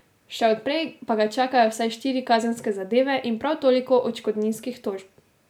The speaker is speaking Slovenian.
Še od prej pa ga čakajo vsaj štiri kazenske zadeve in prav toliko odškodninskih tožb.